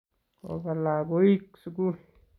koba lakoik sukul.